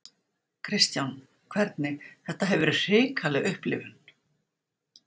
Kristján: Hvernig, þetta hefur verið hrikaleg upplifun?